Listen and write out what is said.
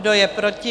Kdo je proti?